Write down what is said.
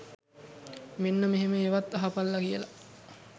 මෙන්න මෙහෙම ඒවත් අහපල්ලා කියලා